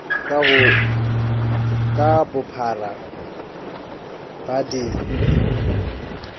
dnp ka bophara dnp di